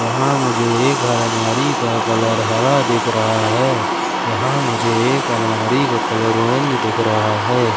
यहां मुझे एक अलमारी का कलर हरा दिख रहा है यहां मुझे एक अलमारी का कलर ऑरेंज दिख रहा है।